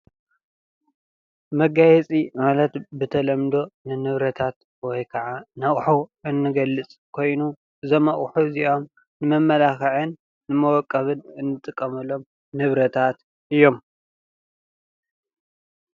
መጋየፂ ማለት ብተለምዶ ንንብረታት ወይ ኸዓ ነአቄሑ ዝገልፅ ኾይኑ እዞም አቄሑ አዚኦም ነነመላኽዕን ነመፀበቅን እንጥቀመሎም ንብረታት እዮም።